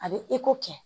A bɛ kɛ